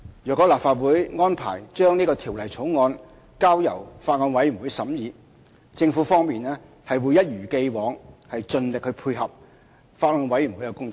若立法會安排將這《條例草案》交由法案委員會審議，政府會一如既往盡力配合法案委員會的工作。